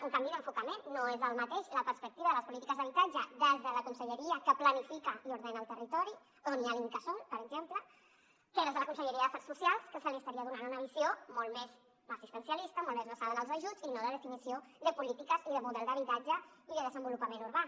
un canvi d’enfocament no és el mateix la perspectiva de les polítiques d’habitatge des de la conselleria que planifica i ordena el territori on hi ha l’incasòl per exemple que des de la conselleria de drets socials que se li estaria donant una visió molt més assistencialista molt més basada en els ajuts i no de definició de polítiques i de model d’habitatge i de desenvolupament urbà